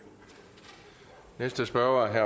for at